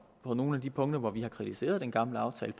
og nogle af de punkter hvor vi har kritiseret den gamle aftale